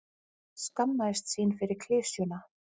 skammaðist sín fyrir klisjuna.